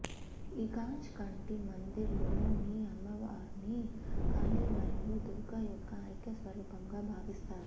ఈ కాంచ్ కంటి మందిర్ లో ని అమ్మవారుని కాళి మరియు దుర్గ యొక్క ఐక్య స్వరూపం గా భావిస్తారు